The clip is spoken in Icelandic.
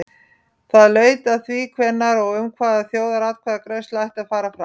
Það laut að því hvenær og um hvað þjóðaratkvæðagreiðsla ætti að fara fram.